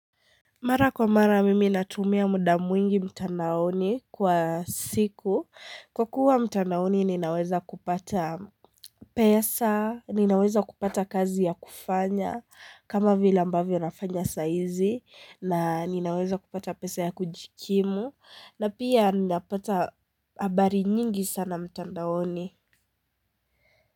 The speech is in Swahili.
Mara kwa mara mimi natumia muda mwingi mtandaoni kwa siku kwa kuwa mtandaoni ninaweza kupata pesa ninaweza kupata kazi ya kufanya kama vila ambavyo nafanya saizi na ninaweza kupata pesa ya kujikimu na pia ninapata habari nyingi sana mtandaoni.